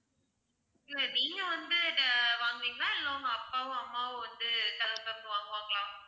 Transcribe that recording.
இல்ல நீங்க வந்து வாங்குவீங்களா இல்ல உங்க அப்பாவோ அம்மாவோ வந்து கதவை திறந்து வாங்குவாங்களா?